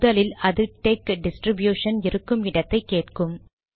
முதலில் அது TeX distribution இருக்கும் இடத்தை கேட்கும்